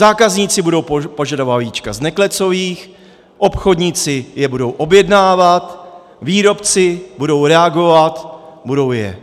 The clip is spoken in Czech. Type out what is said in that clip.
Zákazníci budou požadovat vajíčka z neklecových, obchodníci je budou objednávat, výrobci budou reagovat, budou je